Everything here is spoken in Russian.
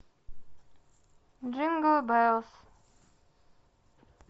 джингл белс